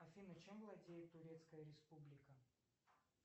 афина чем владеет турецкая республика